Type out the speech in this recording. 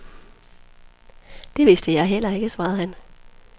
Det viste jeg heller ikke, svarede han.